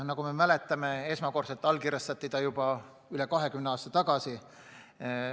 Nagu me mäletame, esmakordselt allkirjastati see juba üle 20 aasta tagasi.